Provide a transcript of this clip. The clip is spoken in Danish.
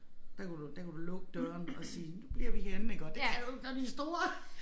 Der kan du der kan du lukke døren og sige nu bliver vi herinde iggå det kan du ikke når de store